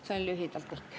See on lühidalt kõik.